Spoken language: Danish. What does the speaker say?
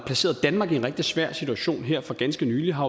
placeret danmark i en rigtig svær situation her for ganske nylig har